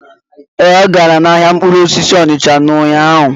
Ee, ọ gara ahịa mkpụrụ osisi Onicha n'ụnyaahụ.